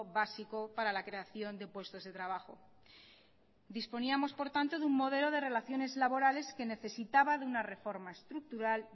básico para la creación de puestos de trabajo disponíamos por tanto de un modelo de relaciones laborales que necesitaba de una reforma estructural